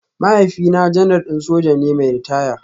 Mahaifina Janar din soja ne mai ritaya